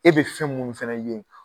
E be fɛn munnu fɛnɛ ye